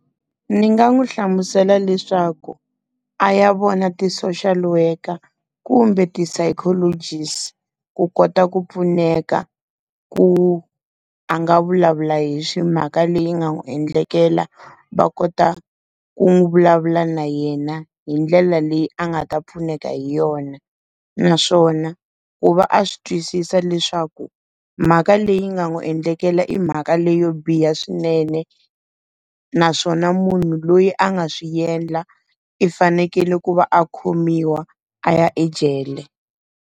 Ndzi nga n'wi hlamusela leswaku, a ya vona ti-social worker kumbe ti-psychologist. Ku kota ku pfuneka ku, a nga vulavula hi mhaka leyi nga n'wi endlekela. Va kota ku n'wi vulavula na yena hi ndlela leyi a nga ta pfuneka hi yona. Naswona, ku va a swi twisisa leswaku mhaka leyi nga n'wi endlekela i mhaka leyo biha swinene. Naswona munhu loyi a nga swi endla i fanekele ku va a khomiwa a ya ejele.